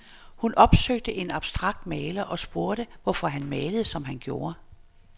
Hun opsøgte en abstrakt maler og spurgte, hvorfor han malede, som han gjorde.